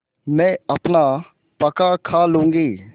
मैं अपना पकाखा लूँगी